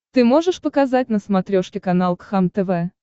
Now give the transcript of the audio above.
ты можешь показать на смотрешке канал кхлм тв